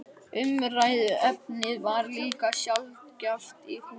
Umræðuefnið var líka sjaldgæft í húsinu.